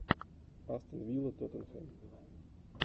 астон вилла тоттенхэм